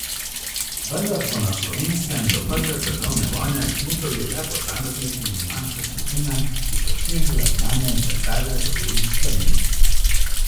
Vendar so na Slovenskem do prve svetovne vojne smučali le posamezniki in manjše skupine, ki so širile znanje in veselje do belih strmin.